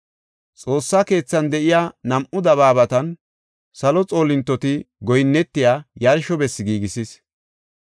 Xoossaa keethan de7iya nam7u dabaabatan salo xoolintoti goyinnetiya yarsho bessi giigisis.